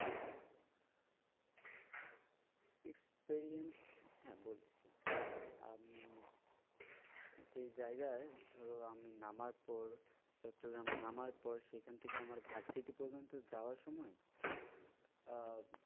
Experience হ্যাঁ বলছি, আমি যে জায়গায় ধরো আমি নামার পর চট্টগ্রাম নামার পর সেখান থেকে আমার পর্যন্ত যাওয়ার সময় আহ